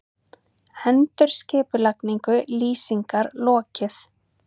Endurskipulagningu Lýsingar lokið